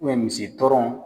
misi tɔrɔn